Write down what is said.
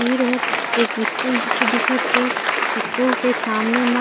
तीर हर एक स्कूल जैसे दिखत हे स्कूल के सामने मा --